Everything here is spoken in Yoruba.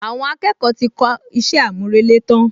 Àwọn akẹ́kọ̀ọ́ ti kọ iṣẹ́ àmúrelé tán